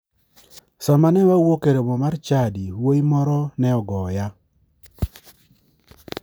Sama ne wawuok e romo mar chadi, wuoyi moro ne ogoya.